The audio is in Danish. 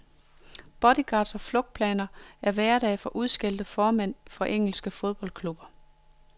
Bodyguards og flugtplaner er hverdag for udskældte formænd for engelske fodboldklubber.